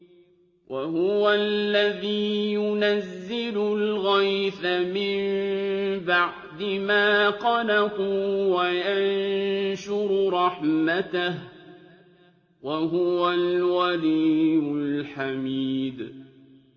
وَهُوَ الَّذِي يُنَزِّلُ الْغَيْثَ مِن بَعْدِ مَا قَنَطُوا وَيَنشُرُ رَحْمَتَهُ ۚ وَهُوَ الْوَلِيُّ الْحَمِيدُ